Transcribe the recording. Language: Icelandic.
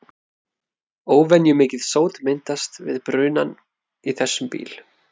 Óvenjumikið sót myndast við brunann í þessum bíl.